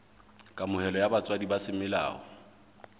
kamohelo ya botswadi ba semolao